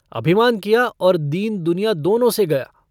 अभिमान किया और दीनदुनिया दोनों से गया।